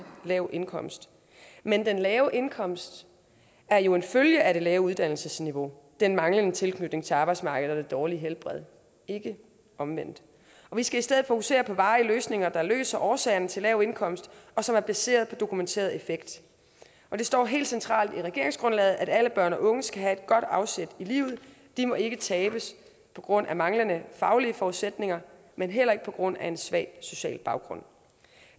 lav indkomst men den lave indkomst er jo en følge af det lave uddannelsesniveau den manglende tilknytning til arbejdsmarkedet og det dårlige helbred ikke omvendt og vi skal i stedet fokusere på varige løsninger der løser årsagerne til lav indkomst og som er baseret på dokumenteret effekt det står helt centralt i regeringsgrundlaget at alle børn og unge skal have et godt afsæt i livet de må ikke tabes på grund af manglende faglige forudsætninger men heller ikke på grund af en svag social baggrund